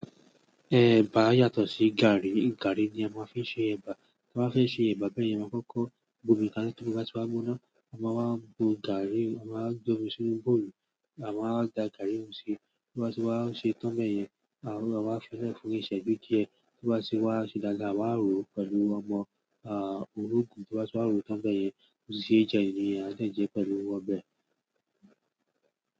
Ẹ̀bà yàtọ̀ sí gàrrí. Gàrrí ni a máa ń fi ṣe ẹ̀bà. A máa ń fi ṣe ẹ̀bà bẹ́ẹ̀ yẹn, a máa kọ́kọ́ bùnmi kálẹ̀ tí o bá ti wá gbóná, a máa wá bu gàrí, a máa dán misí bọ́ọ̀lù, a máa da gàrí run sí i, tí o bá ti wá ṣe tán bẹ́ẹ̀ yẹn, a máa fẹ́lẹ́ fún un ìṣẹ́ bí díẹ̀, tí o bá ti wá ṣe dáadáa, a máa rò ó pẹ̀lú ọmọ ológun, tí o bá ti wá rò ó tán bẹ́ẹ̀ yẹn, mo sì ṣe jẹ ni, a sì ń jẹ pẹ̀lú ọbẹ̀.